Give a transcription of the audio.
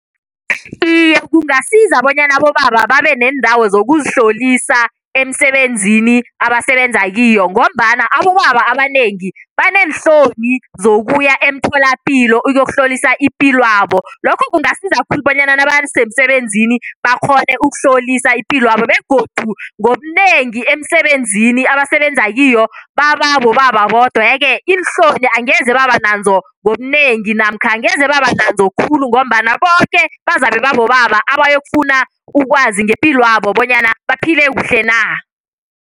Iye, kungasiza bonyana abobaba babe neendawo zokuzihlolisa emsebenzini abasebenza kiyo ngombana abobaba abanengi baneenhloni zokuya emtholapilo ukuyokuhlolisa ipilwabo lokho kungasiza khulu bonyana nabasemsebenzini bakghone ukuhlolisa ipilwabo begodu ngobunengi emsebenzini abasebenza kiyo baba bobaba bodwa. Yeke iinhloni angeze baba nazo ngobunengi namkha angeze baba nazo khulu ngombana boke bazabe babobaba abayokufuna ukwazi ngepilwabo bonyana baphile kuhle na.